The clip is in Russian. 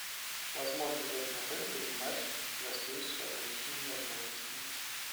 возможно ли в этом отеле принимать гостей с ограниченными возможностями